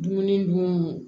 Dumuni dun